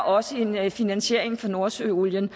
også en finansiering fra nordsøolien